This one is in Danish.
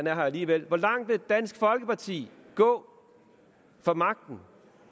er her alligevel hvor langt vil dansk folkeparti gå for magten